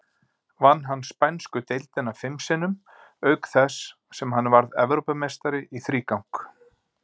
Vann hann spænsku deildina fim sinnum, auk þess sem hann varð Evrópumeistari í þrígang.